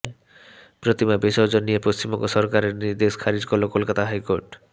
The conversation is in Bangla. প্রতিমা বিসর্জন নিয়ে পশ্চিমবঙ্গ সরকারের নির্দেশ খারিজ করল কোলকাতা হাইকোর্ট